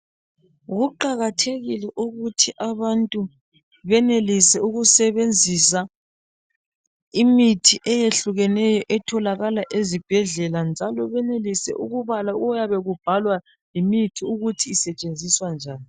Kuqakathekile ukuthi abantu benelise ukusebenzisa imithi eyehlukeneyo etholakala ezibhedlela, njalo benelise ukubala okuyabe kubhalwa yimithi ukuthi isetshenziswa njani.